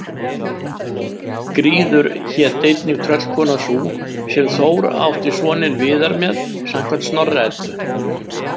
Gríður hét einnig tröllkona sú sem Þór átti soninn Viðar með samkvæmt Snorra-Eddu.